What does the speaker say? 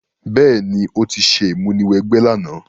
Béèní, o ti se ìmúniwẹgbẹ́ làná